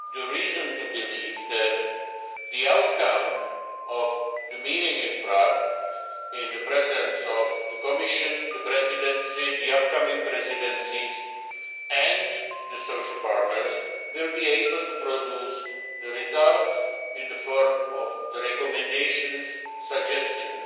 have reason to believe that the outcome of the meeting in Prague in the presence of the Commission, the Presidency, the upcoming presidencies and the social partners will be able to produce results in the form of recommendations and suggestions.